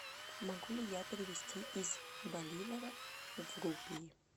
могу ли я перевести из боливаров в рупии